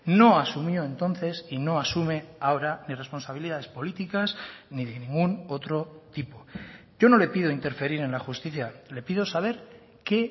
no ha asumió entonces y no asume ahora ni responsabilidades políticas ni de ningún otro tipo yo no le pido interferir en la justicia le pido saber qué